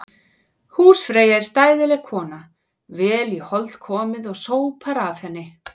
Húsfreyja er stæðileg kona, vel í hold komið og sópar að henni.